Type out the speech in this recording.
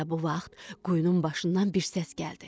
Elə bu vaxt quyunun başından bir səs gəldi.